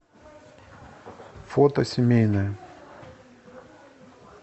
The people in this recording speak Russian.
фото семейное